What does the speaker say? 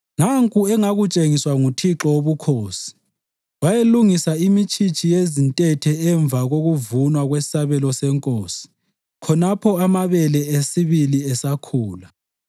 Nanku engakutshengiswa nguThixo Wobukhosi: Wayelungisa imitshitshi yezintethe emva kokuvunwa kwesabelo senkosi khonapho amabele esibili esakhula.